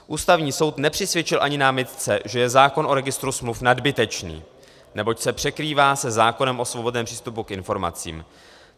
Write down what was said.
Ústavní soud nepřisvědčil ani námitce, že je zákon o registru smluv nadbytečný, neboť se překrývá se zákonem o svobodném přístupu k informacím.